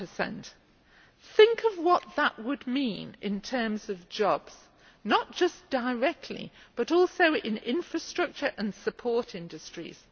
1. Think of what that would mean in terms of jobs, not just directly, but also in infrastructure and support industries.